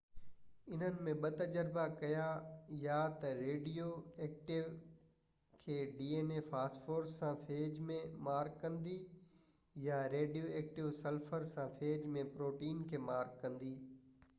هنن ٻہ تجربا ڪيا يا تہ ريڊيو ايڪٽو فاسفورس سان فيج ۾ dna کي مارڪ ڪندي يا ريڊيو ايڪٽو سلفر سان فيج جي پروٽين کي مارڪ ڪندي